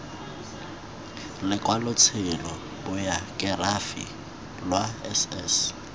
lokwalotshelo bayokerafi lwa s s